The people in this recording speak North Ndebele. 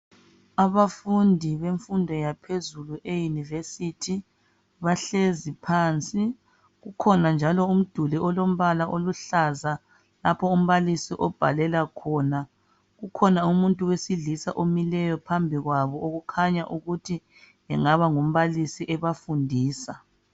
Abafundi bemfundo yaphezulu eYunivesithi, bahlezi phansi. Ukhona njalo umduli olombala oluhlaza lapho umbalisi obhalela khona. Ukhona umuntu wesilisa omileyo phambi kwabo okukhanya ukuthi engaba ngumbalisi ebafundisa.